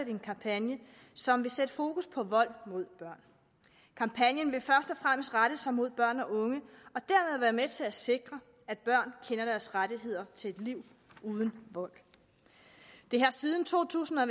en kampagne som vil sætte fokus på vold mod børn kampagnen vil først og fremmest rette sig mod børn og unge og dermed være med til at sikre at børn kender deres rettigheder til et liv uden vold det har siden to tusind og